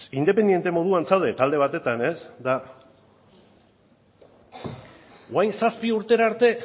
independente moduan zaude talde batetan eta orain zazpi urtera arte